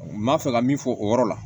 N b'a fɛ ka min fɔ o yɔrɔ la